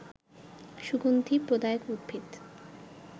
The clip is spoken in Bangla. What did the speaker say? সুগন্ধি প্রদায়ক উদ্ভিদ